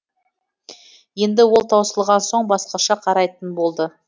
енді ол таусылған соң басқаша қарайтын болды